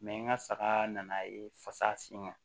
n ka saga nana ye fasa sin kan